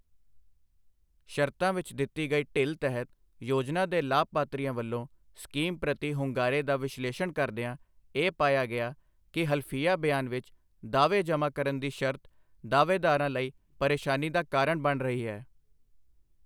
ਸ਼ਰਤਾਂ ਵਿੱਚ ਦਿੱਤੀ ਗਈ ਢਿੱਲ ਤਹਿਤ ਯੋਜਨਾ ਦੇ ਲਾਭਪਾਤਰੀਆਂ ਵੱਲੋਂ ਸਕੀਮ ਪ੍ਰਤੀ ਹੁੰਗਾਰੇ ਦਾ ਵਿਸ਼ਲੇਸ਼ਣ ਕਰਦਿਆਂ ਇਹ ਪਾਇਆ ਗਿਆ ਕਿ ਹਲਫੀਆ ਬਿਆਨ ਵਿਚ ਦਾਅਵੇ ਜਮ੍ਹਾਂ ਕਰਨ ਦੀ ਸ਼ਰਤ ਦਾਅਵੇਦਾਰਾਂ ਲਈ ਪ੍ਰੇਸ਼ਾਨੀ ਦਾ ਕਾਰਨ ਬਣ ਰਹੀ ਹੈ।